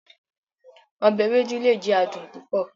Ọbẹ Ewedu le jẹ adun pupọ